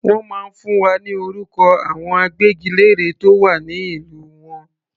Wọ́n máa fún wa ní orúkọ àwọn agbẹ́gilére tó wà ní ìlú wọn.